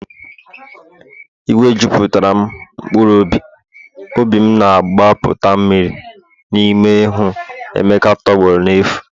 Iwe juputara'm mkpụrụ obi'm, obi'm na-agbapụta mmiri n'ime ịhụ emeka tọgbọrọ n'efu